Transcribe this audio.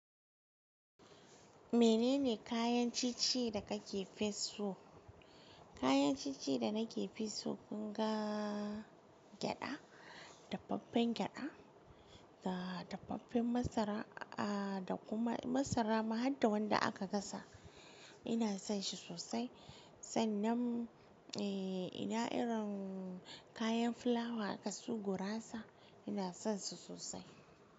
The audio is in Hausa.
Menene kayan cici da kake fi so? Kayan cici da nake fi so kungaa gyada, dafaffen gyada da dafaffen masara a da kuma masara ma hadda wanda aka gasa. Ina son shi sosai sannan e ina irin kayan fulawa aka su gurasa ina son su sosai.